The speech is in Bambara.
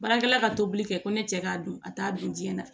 Baarakɛla ka tobili kɛ ko ne cɛ k'a don a t'a don diɲɛ na